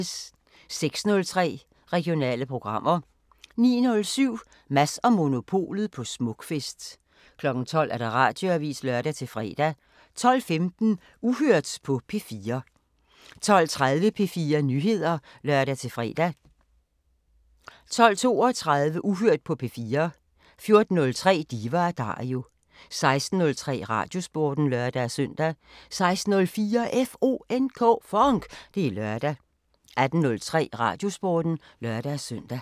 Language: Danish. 06:03: Regionale programmer 09:07: Mads & Monopolet på Smukfest 12:00: Radioavisen (lør-fre) 12:15: Uhørt på P4 12:30: P4 Nyheder (lør-fre) 12:32: Uhørt på P4 14:03: Diva & Dario 16:03: Radiosporten (lør-søn) 16:04: FONK! Det er lørdag 18:03: Radiosporten (lør-søn)